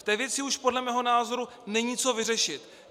V té věci už podle mého názoru není co vyřešit.